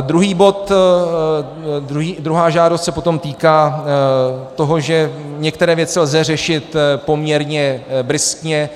Druhý bod, druhá žádost se potom týká toho, že některé věci lze řešit poměrně bryskně,